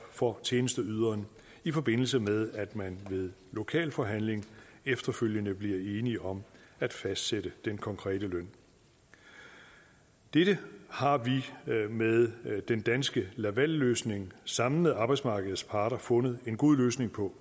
for tjenesteyderen i forbindelse med at man ved lokalforhandling efterfølgende bliver enige om at fastsætte den konkrete løn dette har vi med den danske laval løsning sammen med arbejdsmarkedets parter fundet en god løsning på